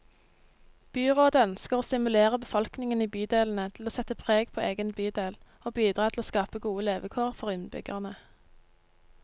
Byrådet ønsker å stimulere befolkningen i bydelene til å sette preg på egen bydel, og bidra til å skape gode levekår for innbyggerne.